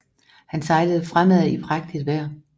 Han sejlede fremad i prægtigt vejr